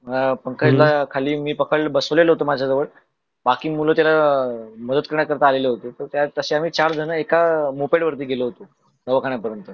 अह पंकजला खाली मी पकडलो बसव्लेलो होतो माझ्याजवळ बाकी मुल त्यांना अह मद्दत करायला आलेहोते. तसे आम्ही चार झन एका अह मोपेट वरती गेलो होतो दवाखान्या पर्यंत.